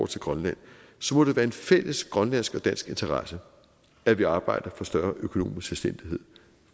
til grønland må det være en fælles grønlandsk og dansk interesse at vi arbejder for større økonomisk selvstændighed